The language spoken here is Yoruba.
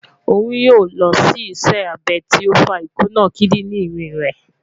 Oun yoo lọ si iṣẹ abẹ ti o fa ikuna kidirin rẹ